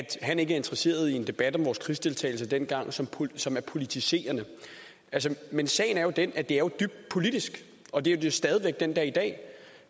han ikke er interesseret i en debat om vores krigsdeltagelse dengang som som er politiserende men sagen er jo den at det er dybt politisk og det er det stadig væk den dag i dag